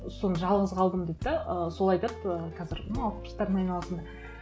соны жалғыз қалдым дейді де ы сол айтады ы қазір ну алпыстардың айналасында